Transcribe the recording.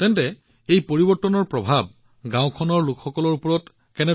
তেন্তে এই পৰিৱৰ্তনৰ প্ৰভাৱ গাওঁখনৰ লোকসকলৰ ওপৰত কেনেকুৱা